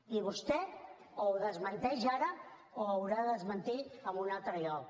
i vostè o ho desmenteix ara o ho haurà de desmentir en un altre lloc